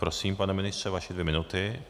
Prosím, pane ministře, vaše dvě minuty.